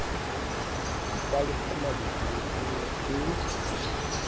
dipalesa mabitleng e ne e